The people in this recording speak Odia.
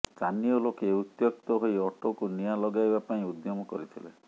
ସ୍ଥାନୀୟ ଲୋକେ ଉତ୍ତ୍ୟକ୍ତ ହୋଇ ଅଟୋକୁ ନିଆଁ ଲଗାଇବା ପାଇଁ ଉଦ୍ୟମ କରିଥିଲେ